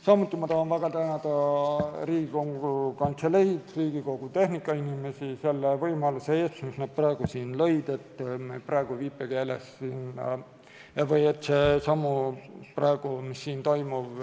Samuti tahan väga tänada Riigikogu Kantseleid, Riigikogu tehnikainimesi selle võimaluse eest, mis nad praegu siin lõid, et see, mis siin toimub,